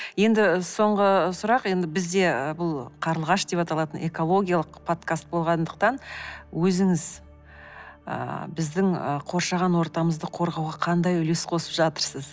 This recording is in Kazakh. енді соңғы сұрақ енді бізде бұл қарлығаш деп аталатын экологиялық подкаст болғандықтан өзіңіз ыыы біздің қоршаған ортамызды қорғауға қандай үлес қосып жатырсыз